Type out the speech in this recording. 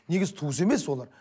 негізі туысы емес олар